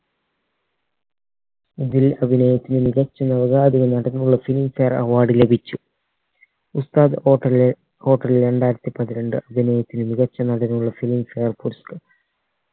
ഇതിൽ അതിനകത്ത് മികച്ച നവാഗത നടനുള്ള filmfare award ലഭിച്ചു ഉസ്താദ് hotel ലെ hotel രണ്ടായിരത്തി പതിരണ്ട് അഭിനയത്തിന് മികച്ച നടനുള്ള filmfare പുരസ്‌കാര